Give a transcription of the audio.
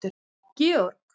Georg